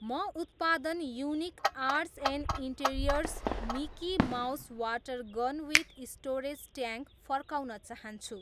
म उत्पादन unique arts and interiors Mickey Mouse water gun with storage tank फर्काउन चाहन्छु